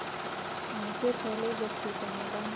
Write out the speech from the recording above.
उनके पहले बच्चे का निधन